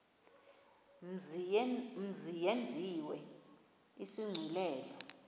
mzi yenziwe isigculelo